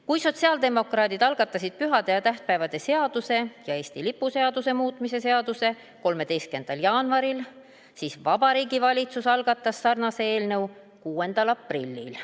Kui sotsiaaldemokraadid algatasid pühade ja tähtpäevade seaduse ja Eesti lipu seaduse muutmise seaduse eelnõu 13. jaanuaril, siis Vabariigi Valitsus algatas sarnase eelnõu 6. aprillil.